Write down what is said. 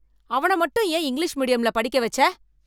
அவன மட்டும் ஏன் இங்கிலீஷ் மீடியம்ல படிக்க வெச்ச?